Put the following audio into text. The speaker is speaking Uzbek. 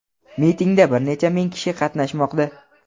Mitingda bir necha ming kishi qatnashmoqda.